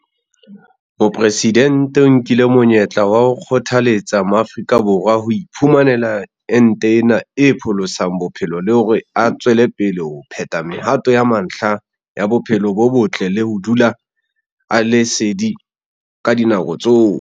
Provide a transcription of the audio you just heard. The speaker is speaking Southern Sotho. Mopresidente o nkile monyetla wa ho kgothaletsa Maafrika Borwa ho iphumanela ente ena e pholosang bophelo le hore a tswele pele ho phetha mehato ya mantlha ya bophelo bo botle le ho dula a le sedi ka dinako tsohle.